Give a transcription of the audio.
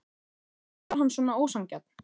Af hverju var hann svona ósanngjarn?